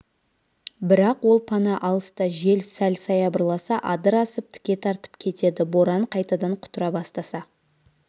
бірақ ол пана алыста жел сәл саябырласа адыр асып тіке тартып кетеді боран қайтадан құтыра бастаса